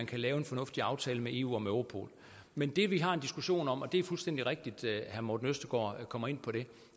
kan lave en fornuftig aftale med eu om europol men det vi har en diskussion om og det er fuldstændig rigtigt at herre morten østergaard kommer ind på det